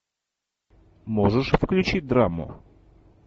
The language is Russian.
можешь включить драму